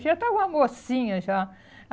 Já estava mocinha já.